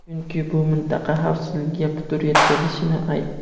chunki bu mintaqa xavfsizligiga putur yetkazishini aytdi.